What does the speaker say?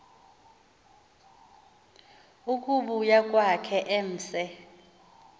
ukubuya kwakhe emse